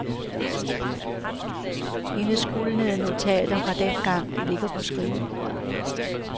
Hendes gulnede notater fra dengang ligger på skrivebordet.